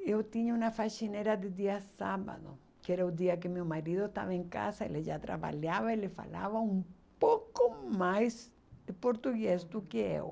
eu tinha uma faxineira de dia sábado, que era o dia que meu marido estava em casa, ele já trabalhava, ele falava um pouco mais de português do que eu.